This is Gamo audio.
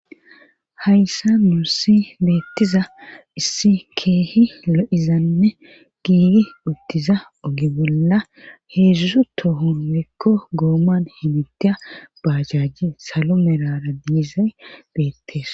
hayssa nuusi beettiza issi keehi lo7izanne giigi uttiza ogi bolla heedzuzzu tohun mekko gooman himit baajajji salo merara diizay beettees